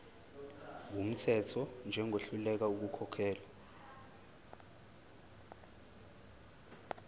wumthetho njengohluleka ukukhokhela